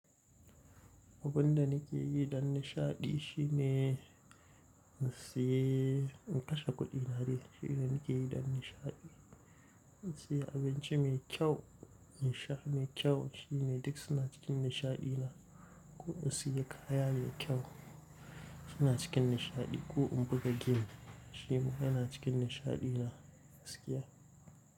Abun da nake yi don nishaɗi shine in sayi, in kashe kuɗina ne, shine nake yi don nishaɗi. In sayi abinci mai kyau, in sha mai kyau shine duk suna cikin nishaɗi na. Ko in sayi kaya mai kyau, su na cikin nishaɗi. Ko in buga game, shi kuma yana cikin nishaɗi na gaskiya.